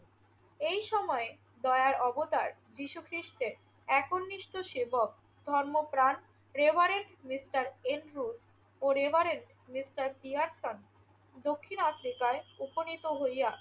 এই সময়ে দয়ার অবতার যীশুখ্রিষ্টের একনিষ্ঠ সেবক ধর্মপ্রাণ রেভারেন্ড মিস্টার এন্ড্রু ও রেভারেন্ড মিস্টার পিয়ারসন দক্ষিণ আফ্রিকায় উপনীত হইয়া